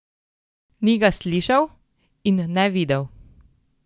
Ni ga slišal in ne videl!